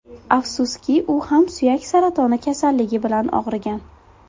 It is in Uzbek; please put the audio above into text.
Afsuski u ham suyak saratoni kasalligi bilan og‘rigan.